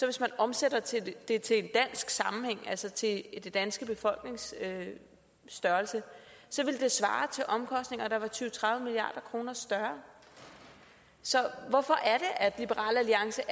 hvis man omsatte det til en dansk sammenhæng altså til den danske befolknings størrelse svare til omkostninger der var tyve til tredive milliard kroner større så hvorfor er liberal alliance